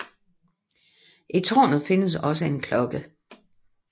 I tårnet findes også en klokke